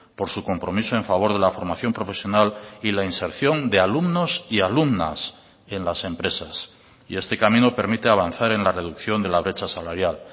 por su compromiso en favor de la formación profesional y la inserción de alumnos y alumnas en las empresas y este camino permite avanzar en la reducción de la brecha salarial